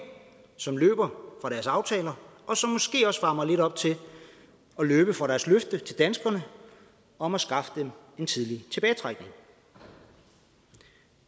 som løber fra dens aftaler og som måske også varmer lidt op til at løbe fra løftet til danskerne om at skaffe dem en tidlig tilbagetrækning